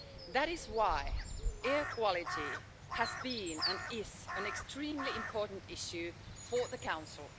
That is why air quality has been, and is, an extremely important issue for the Council.